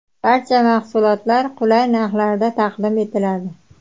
Barcha mahsulotlar qulay narxlarda taqdim etiladi.